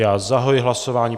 Já zahajuji hlasování.